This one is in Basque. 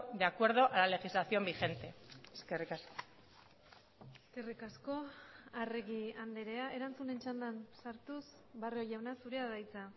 de acuerdo a la legislación vigente eskerrik asko eskerrik asko arregi andrea erantzunen txandan sartuz barrio jauna zurea da hitza